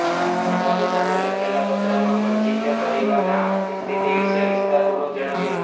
વડાપ્રધાનને લખેલા પત્રમાં મંજીતે પરિવારને આર્થિક સ્થિતિ વિશે વિસ્તારપૂર્વક જણાવ્યું હતું